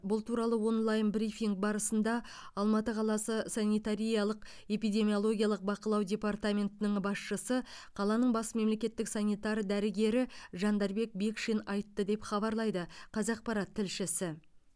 бұл туралы онлайн брифинг барысында алматы қаласы санитариялық эпидемиологиялық бақылау департаментінің басшысы қаланың бас мемлекеттік санитар дәрігері жандарбек бекшин айтты деп хабарлайды қазақпарат тілшісі